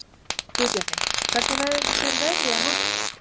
Guðbjarni, hvernig verður veðrið á morgun?